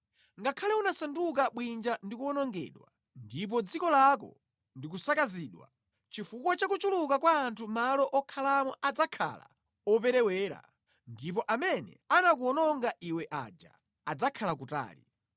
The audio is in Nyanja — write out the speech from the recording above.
“Ngakhale unasanduka bwinja ndi kuwonongedwa ndipo dziko lako ndi kusakazidwa, chifukwa cha kuchuluka kwa anthu malo okhalamo adzakhala operewera ndipo amene anakuwononga iwe aja adzakhala kutali.